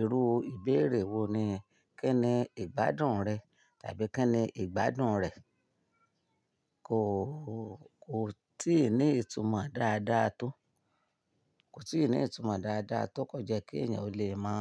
irú ìbéèrè wo ni "kí ni ìgbádùn rẹ̀" tàbí "kí ni ìgbádùn rẹ̀". Kò, kò tíì ní ìtumọ̀ dáadáa tó, kò tíì ní ìtumọ̀ dáadáa tó kò jẹ́ kí èèyàn ó lè mọ̀,